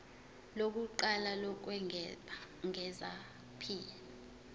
lokuqala lokwengeza p